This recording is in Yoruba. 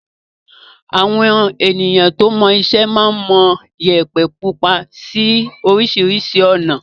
Àwọn èèyàn tó mọṣẹ́ máa ń mọ Iyẹ̀pẹ̀ pupa sí oríṣiríṣi ọ̀nà.